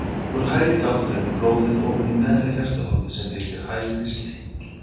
Úr hægri gátt rennur blóðið ofan í neðra hjartahólfið sem heitir hægri slegill.